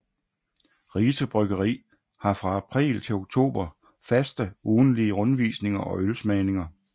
Rise Bryggeri har fra april til oktober faste ugentlige rundvisninger og ølsmagninger